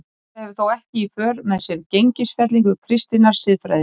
Þetta hefur þó ekki í för með sér gengisfellingu kristinnar siðfræði.